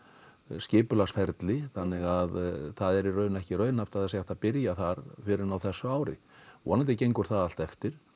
skipulagsferli þannig að það er í raun ekki raunhæft að það sé hægt að byrja þar fyrr en á þessu ári vonandi gengur það allt eftir